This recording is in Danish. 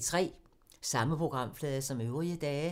Samme programflade som øvrige dage